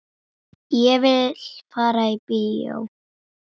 Ég vil fara í bíó